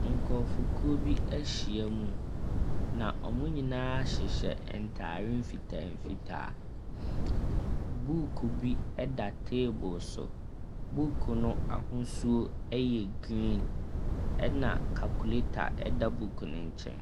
Nkurɔfokuo bi ahyia mu, na wɔn nyinaa hyehyɛ ntade mfitaa mfitaa. Buuku bi da table so. Buuku no ahosuo yɛ green, ɛna calculator da buuku no nkyɛn.